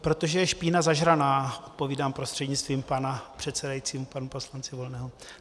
Protože je špína zažraná, odpovídám prostřednictvím pana předsedajícího panu poslanci Volnému.